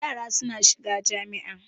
Yara suna shiga jami'a.